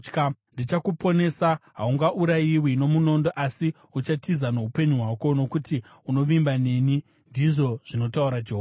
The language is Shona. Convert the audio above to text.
Ndichakuponesa; haungaurayiwi nomunondo asi uchatiza noupenyu hwako, nokuti unovimba neni, ndizvo zvinotaura Jehovha.’ ”